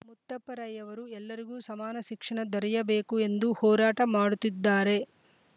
ಮುತ್ತಪ್ಪ ರೈ ಅವರು ಎಲ್ಲರಿಗೂ ಸಮಾನ ಶಿಕ್ಷಣ ದೊರಯಬೇಕು ಎಂದು ಹೋರಾಟ ಮಾಡುತ್ತಿದ್ದಾರೆ